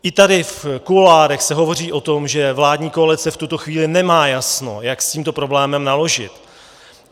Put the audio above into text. I tady v kuloárech se hovoří o tom, že vládní koalice v tuto chvíli nemá jasno, jak s tímto problémem naložit.